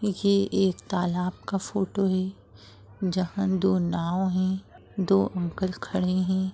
ये एक तालाब का फोटो है जहाँ दो नांव है दो अंकल खड़े है।